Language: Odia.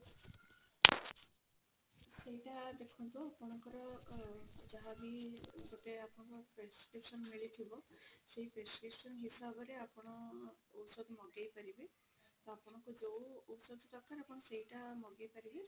ସେଇଟା ଦେଖନ୍ତୁ ଆପଣଙ୍କର ଯାହା ବି ଗୋଟେ ଆପଣ prescription ମିଳିଥିବ ସେଇ prescription ହିସାବରେ ଆପଣ ଔଷଧ ମଗେଇ ପାରିବେ ତ ଆପଣଙ୍କୁ ଯୋଉ ଔଷଧ ଦରକାର ଆପଣ ସେଇଟା ମଗେଇ ପାରିବେ